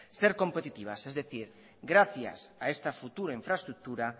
ser competitivas es decir gracias a esta futura infraestructura